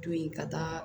To yen ka taa